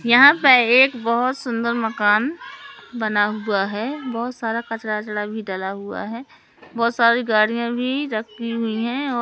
यहां पर एक बहोत सुंदर मकान बना हुआ है बहोत सारा कचरा भी डाला हुआ है बहोत सारी गाड़ियां भी रखी हुई है ओ--